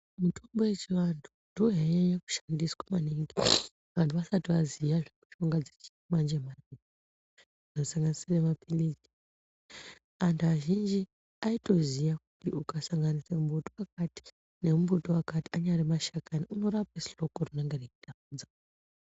Mutombo yechi vantu ndo yai nyanya kushandiswa maningi antu vasati vaziya zve mushonga dzechi manje manje ano sanganisire mapilizi antu azhinji ayito ziya kuti uka sanganisa mbuti wakati ne mbuti wakati anyara mashakani unorape ndxoko renenge rei rwadza.